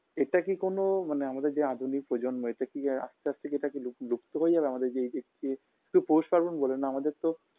এটা কী কোনো মানে আমাদের যে আধুনিক প্রজন্ম এটা কী আস্তে আস্তে এটা কী লুপ লুপ্ত হয়ে যাবে আমাদের এইযে যে শুধু পৌষ পার্বণ বলে না আমাদের তো